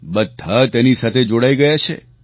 બધા તેની સાથે જોડાઈ ગયા છે